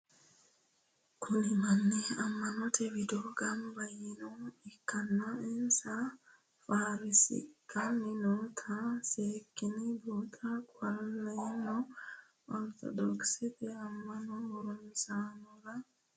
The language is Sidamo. Kuni Manni ama'note widoni gamba yiinoha ikana insan farsixani nootano seekine buuxana qoleno ortodoxete ama'no harunsitanore ikansa sekine huwata dandinemo?